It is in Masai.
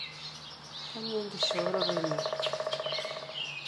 Kanyioo enkishooroto ino?